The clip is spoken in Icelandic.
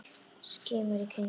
Skimar í kringum sig.